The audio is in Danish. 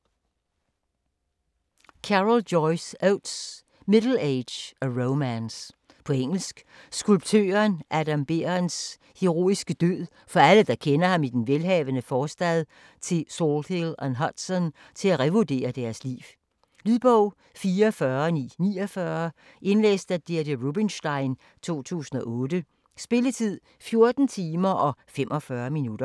Oates, Joyce Carol: Middle age: a romance På engelsk. Skulptøren Adam Berendts heroiske død får alle, der kendte ham i den velhavende forstad til Salthill-on-Hudson, til at revurdere deres liv. Lydbog 44949 Indlæst af Deidre Rubenstein, 2008. Spilletid: 14 timer, 25 minutter.